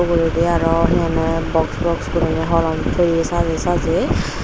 pijedi aro he honne box box guriney holom toye sajey sajey.